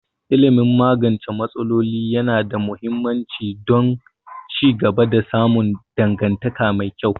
Ilimin magance matsaloli yana da muhimmanci don ci gaba da samun dangantaka mai kyau